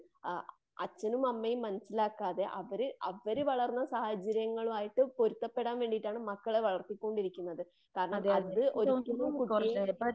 ആ അച്ഛനും അമ്മയും മനസിലാക്കാതെ അവര് അവര് വളർന്ന സാഹചര്യങ്ങലുമായിട്ട് പൊരുത്തപെടാൻ വേണ്ടീട്ടാണ് മക്കളെ വളർത്തികൊണ്ടിരിക്കുന്നത്. കാരണം അത് ഒരിക്കലും കുട്ടിയെ